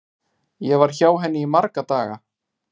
Ég var hjá henni í marga daga.